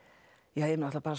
ja